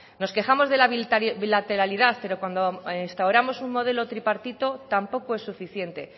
nos quejamos de la bilateralidad pero cuando instauramos un modelo tripartito tampoco es suficiente